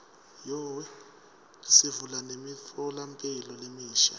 sivula nemitfolamphilo lemisha